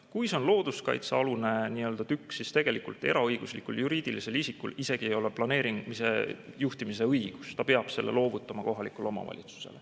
Kui tegu on looduskaitsealuse nii-öelda tükiga, siis tegelikult eraõiguslikul juriidilisel isikul ei ole planeeringu või juhtimise õigust, ta peab selle loovutama kohalikule omavalitsusele.